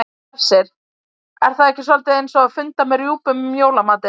Hersir: Er það ekki soldið eins og að funda með rjúpum um jólamatinn?